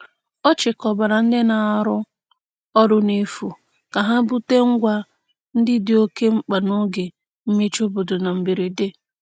Ọ chịkọbara ndị na-arụ ọrụ n'efu ka ha bute ngwa ndị dị oke mkpa n'oge mmechi obodo na mberede.